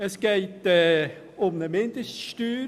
Es geht um eine Mindeststeuer.